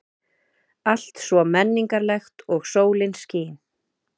Allt svo menningarlegt og sólin skín.